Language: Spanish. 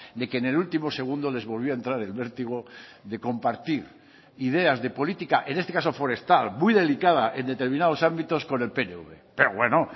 de que en el último segundo les volvía a entrar el vértigo de compartir ideas de política en este caso forestal muy delicada en determinados ámbitos con el pnv pero bueno